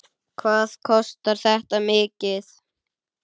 Hvað kostar þetta mikið?